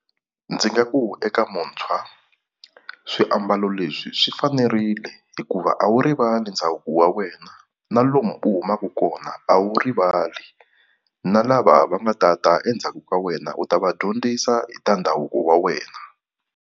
Ndzi nga ku eka muntshwa swiambalo leswi swi fanerile hikuva a wu rivali ndhavuko wa wena na lomu u humaka kona a wu rivali, na lava va nga ta ta endzhaku ka wena u ta va dyondzisa hi ta ndhavuko wa wena.